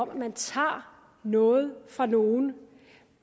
om at man tager noget fra nogen